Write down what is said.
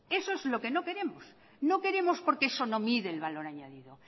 eso es lo que no queremos no queremos porque eso no mide el valor añadido